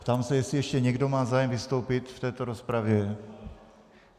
Ptám se, jestli ještě někdo má zájem vystoupit v této rozpravě.